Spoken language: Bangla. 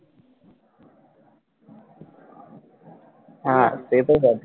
হ্যাঁ এটা দেখ